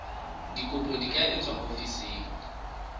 dikopo di ka etswa ofising